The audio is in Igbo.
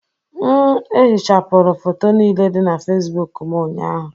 M ehichapụrụ foto niile dị na facebook m ụnyaahụ